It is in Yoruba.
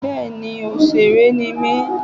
Bẹ́ẹ̀ni òsèré ni mí